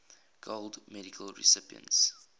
gold medal recipients